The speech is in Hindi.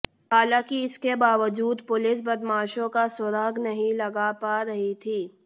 हालांकि इसके बावजूद पुलिस बदमाशों का सुराग नहीं लगा पा रही थी